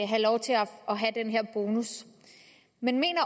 have lov til at have den her bonus men mener